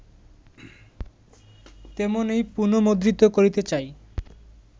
তেমনই পুনর্মুদ্রিত করিতে চাই